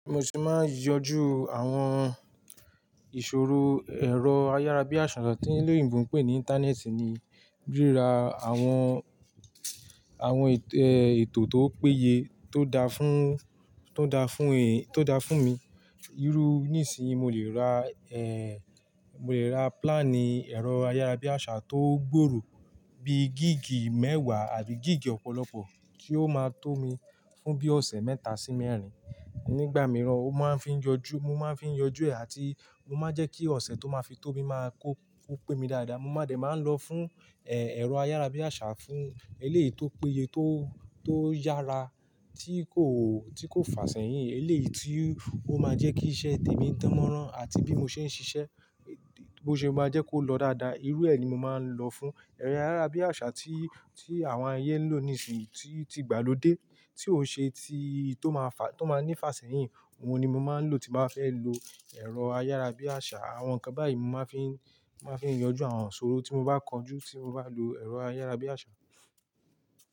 Mo se máa ń yanjú àwọn ìṣòro ẹ̀rọ ayárabíàṣá tí olòyìnbó ń pè ní Íńtánẹ́ẹ̀tì ni, ríra àwọn, àwọn ètò tó péye tó da fún, tó da fún, tó da fún mi. Irú nísìnyí mo lè ra, mo lè ra plánì ẹ̀rọ ayárabíàṣá tó gbòòrò bí gíìgì mẹ́wàá àbí gíìgì ọ̀pọ̀lọpọ̀ tí ó máa tó mi fún bí i ọ̀sẹ̀ mẹ́ta sí mẹ́rin. Nígbà mìíràn ó máa ń fi n jojú, mo máa ń fi ń yanjú ẹ̀ àti mo máa ń jẹ́ kí ọ̀sẹ̀ tó máa fi tó mí máa kó, kó pé mi dáadáa. Mo máa dẹ̀ máa ń lọ fún, ẹ, ẹ̀rọ ayárabíàṣá fún eléyìí tó péye tó, tó yára tí kò, tí kò fà sẹ́yìn. Eléyìí tí ó máa jẹ́ kí iṣẹ́ tèmi dánmọ́rán àti bí mo ṣe ń ṣiṣẹ́, bo ṣe máa jẹ́ kó lọ dáadáa. Irú ẹ ni mo máa ń lọ fún. Ẹ̀rọ ayárabíàṣá tí, tí àwọn ayé ń lò nísinyí tí, tí igbà ló dé tí ó ṣe ti, tó máa fà, tó máa ní ifà sẹ́yìn, òhun ni mo máa ń lò tí n bá fẹ́ lo ẹ̀rọ ayárabíàṣá. Àwọn ǹkan báyìí mo máa ń fi, mo máa ń fi yanjú àwọn iṣòro tí mo bá kọjú tí mo bá lo ẹ̀rọ ayárabíàṣá.